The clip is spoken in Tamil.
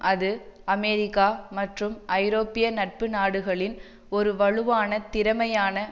அது அமெரிக்கா மற்றும் ஐரோப்பிய நட்புநாடுகளின் ஒரு வலுவான திறமையான